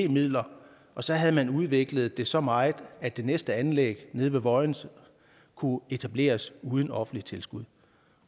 midler og så havde man udviklet det så meget at det næste anlæg nede ved vojens kunne etableres uden offentligt tilskud